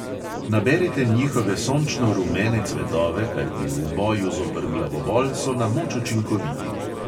Naberite njihove sončno rumene cvetove, kajti v boju zoper glavobol so na moč učinkoviti.